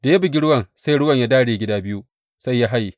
Da ya bugi ruwan sai ruwan ya dāre gida biyu, sai ya haye.